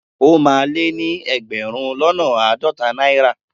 O máa lé ní ẹgbẹ̀rún lọ́nà àádọ́ta náírà.